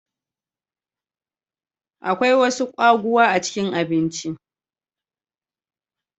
Akwai wasu kwaguwa a cikin abinci.